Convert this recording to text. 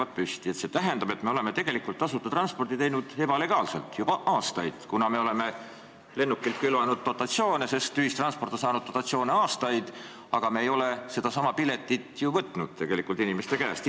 Kui see on tõesti nii, siis see tähendab, et me oleme tasuta ühistransporti teinud ebalegaalselt juba aastaid, kuna me oleme lennukilt külvanud dotatsioone, sest ühistransport on saanud dotatsioone aastaid, aga me ei ole ilmselt sedasama piletiraha ju võtnud tegelikult inimeste käest.